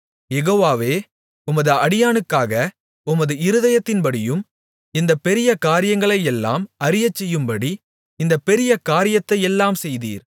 யெகோவாவே உமது அடியானுக்காக உமது இருதயத்தின்படியும் இந்தப் பெரிய காரியங்களையெல்லாம் அறியச்செய்யும்படி இந்தப் பெரிய காரியத்தையெல்லாம் செய்தீர்